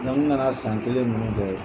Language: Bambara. Nka kana san kelen ninnu kɛ